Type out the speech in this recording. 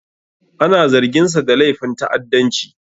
Ana zarginsa da laifin ta'addanci.